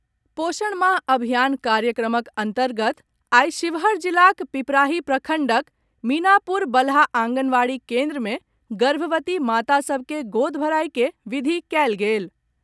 पोषण माह अभियान कार्यक्रमक अंतर्गत आइ शिवहर जिलाक पिपराही प्रखंडक मीनापुर बलहा आंगनबाड़ी केन्द्र मे गर्भवती माता सभ के गोद भराई के विधि कयल गेल।